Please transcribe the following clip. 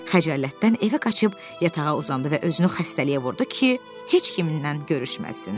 Xəcalətdən evə qaçıb yatağa uzandı və özünü xəstəliyə vurdu ki, heç kimdən görüşməsin.